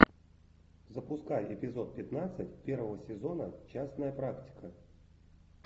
запускай эпизод пятнадцать первого сезона частная практика